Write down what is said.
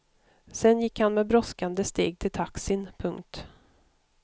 Sen gick han med brådskande steg till taxin. punkt